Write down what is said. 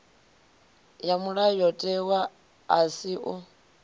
ya mulayotewa a si u